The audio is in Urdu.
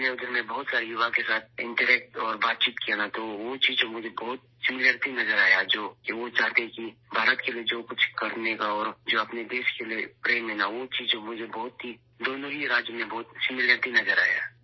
میں نے وہاں کے بہت سے نوجوانوں کے ساتھ بات چیت کی ، تو وہ چیز ، جو مجھے بہت یکسر نظر آئی کہ وہ چاہتے ہیں کہ بھارت کے لیے ، جو کچھ کرنے کا اور جو اپنے ملک کے لیے محبت ہے ، وہ چیز مجھے بہت ہی دونوں ریاستوں میں بہت ہی یکسانیت نظر آئی